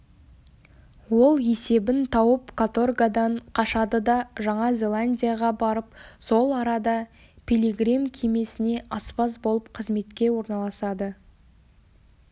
ол есебін тауып каторгадан қашады да жаңа зеландияға барып сол арада пилигрим кемесіне аспаз болып қызметке орналасады